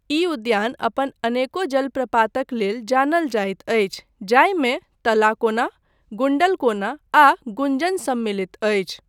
ई उद्यान अपन अनेको जलप्रपातक लेल जानल जाइत अछि जाहिमे तलाकोना, गुण्डलकोना आ गुञ्जन सम्मिलित अछि।